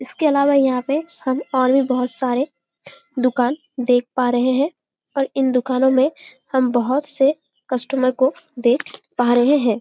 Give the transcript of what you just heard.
इसके इलावा यहाँ पे हम और भी बहोत सारे दुकान देख पा रहे है और इन दुकानों में हम बहोत से कस्टमर को देख पा रहें है।